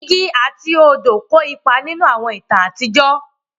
Igi àti odò kó ipa nínú àwọn ìtàn àtijọ́